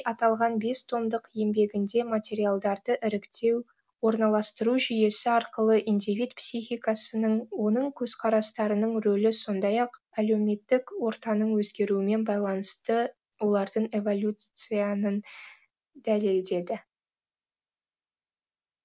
аталған бес томдық еңбегінде материалдарды іріктеу орналастыру жүйесі арқылы индивид психикасының оның көзқарастарының рөлі сондай ақ әлеуметтік ортаның өзгеруімен байланысты олардың эволюциянын дәлелдеді